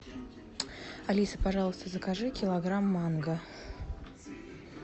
алиса пожалуйста закажи килограмм манго